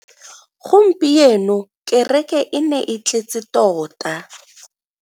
Gompieno kereke e ne e tletse tota.